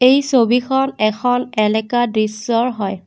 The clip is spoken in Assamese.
এই ছবিখন এখন এলেকা দৃশ্যৰ হয়।